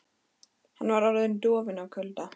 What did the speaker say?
Hann var orðinn dofinn af kulda.